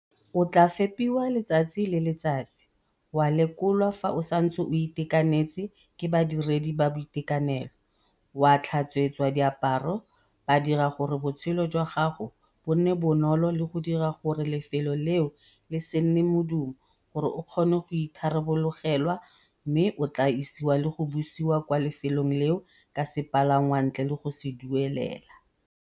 O tla fepiwa letsatsi le letsatsi, wa lekolwa fa o santse o itekanetse ke badiredi ba boitekanelo, wa tlhatswetswa diaparo, ba dira gore botshelo jwa gago bo nne bonolo le go dira gore lefelo leo le se nne modumo gore o kgone go itharabologelwa mme o tla isiwa le go busiwa kwa lefelong leo ka sepalangwa ntle le go se duelela.